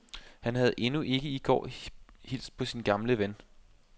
Han havde endnu i går ikke hilst på sin gamle ven.